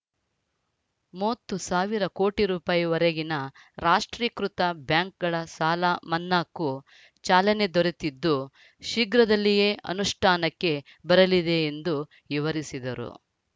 ಮೂವತ್ತು ಸಾವಿರ ಕೋಟಿ ರೂಪಾಯಿ ವರೆಗಿನ ರಾಷ್ಟ್ರೀಕೃತ ಬ್ಯಾಂಕ್‌ಗಳ ಸಾಲ ಮನ್ನಾಕ್ಕೂ ಚಾಲನೆ ದೊರೆತಿದ್ದು ಶೀಘ್ರದಲ್ಲಿಯೇ ಅನುಷ್ಠಾನಕ್ಕೆ ಬರಲಿದೆ ಎಂದು ವಿವರಿಸಿದರು